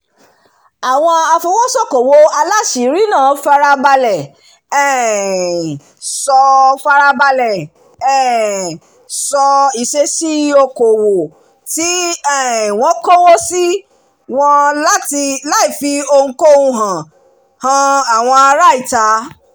àwọn afowósókowò aláṣìírí náà farabalẹ̀ um ṣọ́ farabalẹ̀ um ṣọ́ ìṣesí okòwò tí um wọ́n kówó sí wọn láìfi ohunkóhun han àwọn ará ìta